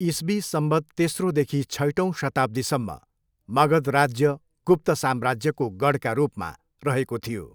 इस्वी संवत् तेस्रोदेखि छैटौंँ शताब्दीसम्म मगध राज्य गुप्त साम्राज्यको गढका रूपमा रहेको थियो।